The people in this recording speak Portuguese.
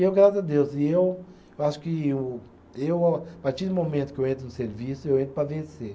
E eu, graças a Deus, e eu acho que o, eu a partir do momento que eu entro no serviço, eu entro para vencer.